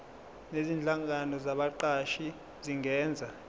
nezinhlangano zabaqashi zingenza